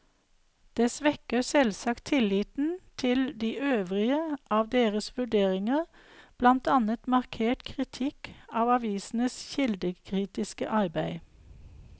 Det svekker selvsagt tilliten til de øvrige av deres vurderinger, blant annet markert kritikk av avisenes kildekritiske arbeid.